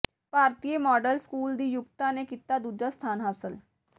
ਭਾਰਤੀਆ model school ਦੀ ਯੁਕਤਾ ਨੇ ਕੀਤਾ ਦੂਜਾ ਸਥਾਨ ਹਾਸਲ